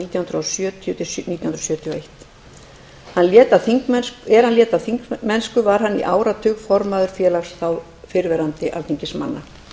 nítján hundruð sjötíu til nítján hundruð sjötíu og eitt er hann lét af þingmennsku var hann í áratug formaður félags fyrrverandi alþingismanna